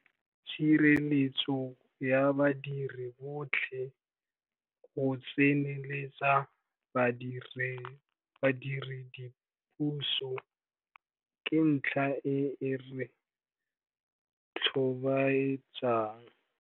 Tshireletsego ya badiri botlhe, go tsenyeletsa badiredipuso, ke ntlha e e re tlhobaetsang.